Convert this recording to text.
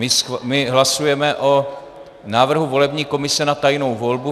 My hlasujeme o návrhu volební komise na tajnou volbu.